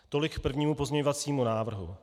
Tolik k prvnímu pozměňovacímu návrhu.